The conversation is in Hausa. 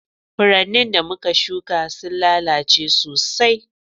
Furannin da muka shuƙa sun lalace sosai.